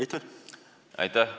Aitäh!